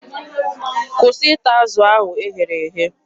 Kwụsị ịta azụ ahụ e ghere eghe!